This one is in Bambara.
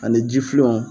Ani ji filenw